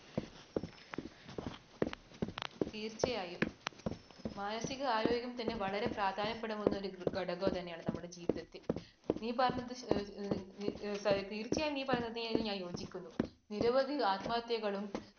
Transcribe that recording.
തീർച്ചയായും മാനസിക ആരോഗ്യം തന്നെ വളരെ പ്രാധാന്യപ്പെടുന്ന ഘടകം തന്നെയാണ് നമ്മുടെ ജീവിതത്തിൽ. നീ പറഞ്ഞത്, തീർച്ചയായും നീ പറഞ്ഞത് ഞാൻ യോജിക്കുന്നു. നിരവധി ആത്മഹത്യകളും